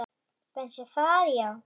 Finnst þér það já.